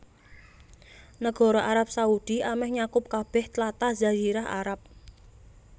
Nagara Arab Saudi amèh nyakup kabèh tlatah Jazirah Arab